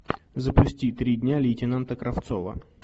запусти три дня лейтенанта кравцова